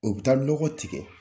O bɛ taa lɔgɔ tigɛ.